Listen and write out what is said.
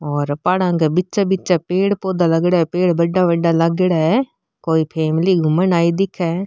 पहाड़ा के बीच बीच पेड़ पौधा लागेड़ा है पेड़ बड़ा बड़ा लागेड़ा है। और कोई फैमली घून रही है।